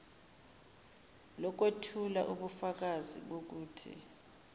lokwethula ubufakazi bokuthi